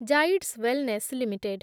Zydus wellness limited